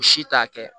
U si t'a kɛ